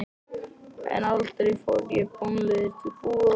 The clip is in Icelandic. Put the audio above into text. En aldrei fór ég bónleiður til búðar.